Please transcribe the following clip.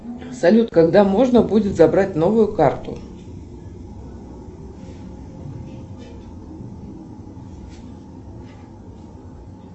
салют когда можно будет забрать новую карту